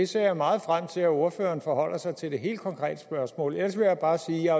ser meget frem til at ordføreren forholder sig til det helt konkrete spørgsmål ellers vil jeg bare sige